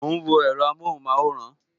Mo ń wo èro amohun maworan